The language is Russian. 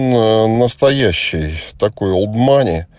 нуу настоящий такой олд мани